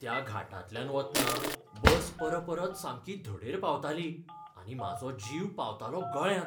त्या घाटांतल्यान वतना बस परपरत सामकी धडेर पावताली, आनी म्हाजो जीव पावतालो गळ्यांत!